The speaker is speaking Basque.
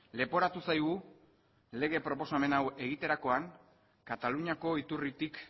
leporatu zaigu lege proposamen hau egiterakoan kataluniako iturritik